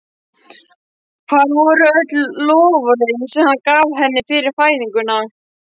Hvar voru öll loforðin sem hann gaf henni fyrir fæðinguna?